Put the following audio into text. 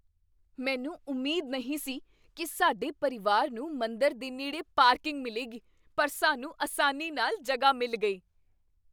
ਮੈਨੂੰ ਉਮੀਦ ਨਹੀਂ ਸੀ ਕੀ ਸਾਡੇ ਪਰਿਵਾਰ ਨੂੰ ਮੰਦਰ ਦੇ ਨੇੜੇ ਪਾਰਕਿੰਗ ਮਿਲੇਗੀ, ਪਰ ਸਾਨੂੰ ਆਸਾਨੀ ਨਾਲ ਜਗ੍ਹਾ ਮਿਲ ਗਈ।